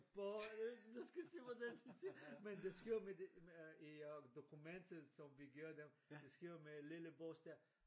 På ind du skal se hvordan de ser men de skriver med det med i øh dokumentet som vi giver dem de skriver med lille bogstav